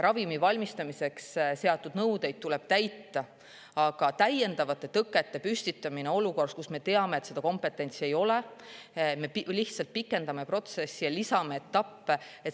Ravimi valmistamiseks seatud nõudeid tuleb täita, aga kui me püstitame täiendavaid tõkkeid olukorras, kus me teame, et seda kompetentsi ei ole, siis me lihtsalt pikendame protsessi ja lisame sellele etappe.